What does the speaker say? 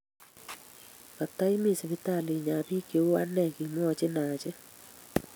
Kata imi sipitali inyaa biik cheu anee, kimwoji Haji?